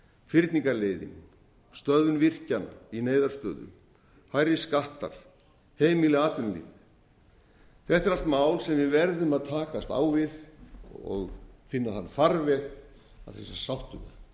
fyrningarleiðin stöðvun virkjana í neyðarstöðu hærri skattar heimili atvinnulíf þetta eru allt mál sem við verðum að takast á við og finna þann farveg að sé sátt um það það